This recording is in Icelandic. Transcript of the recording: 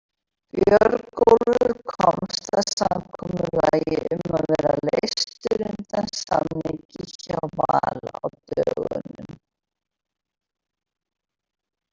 Björgólfur komst að samkomulagi um að vera leystur undan samningi hjá Val á dögunum.